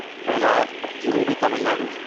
ویلار جنوبی تمل ناڈو